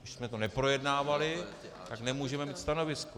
Když jsme to neprojednávali, tak nemůžeme mít stanovisko.